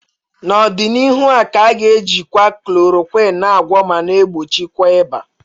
N'ọdịnihu a ka ga-ejikwa Chloroquine na agwọ ma na egbochikwa ịba